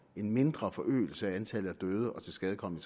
en mindre forøgelse af antallet af døde og tilskadekomne